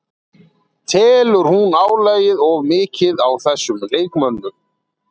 Telur hún álagið of mikið á þessum leikmönnum?